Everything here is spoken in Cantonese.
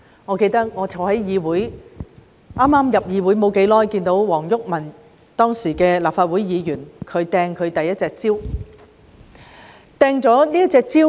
我記得剛加入立法會不久，便在議事廳內目睹前立法會議員黃毓民擲出第一隻蕉。